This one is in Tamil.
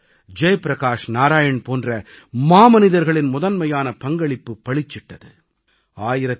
லோஹியா ஜெய்பிரகாஷ் நாராயண் போன்ற மாமனிதர்களின் முதன்மையான பங்களிப்பு பளிச்சிட்டது